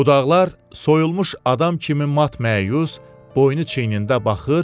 budaqlar soyulmuş adam kimi mat-məyus, boynu çiynində baxır,